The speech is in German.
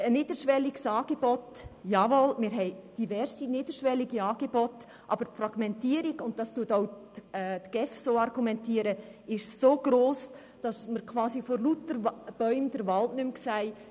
Es bestehen bereits mehrere niederschwellige Angebote, aber die Fragmentierung ist so gross, dass wir vor lauter Bäumen den Wald nicht mehr sehen.